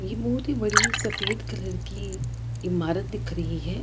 ये बहुत ही बड़ी सफ़ेद कलर की ईमारत दिख रही है।